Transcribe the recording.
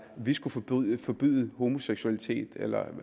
vi skal forbyde forbyde homoseksualitet eller